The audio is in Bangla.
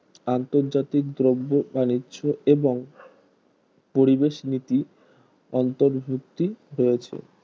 আন্তর্জাতিক দ্রব্য এবং বাণিজ্য এবং পরিবেশ নীতি অন্তর্ভুক্ত হয়েছে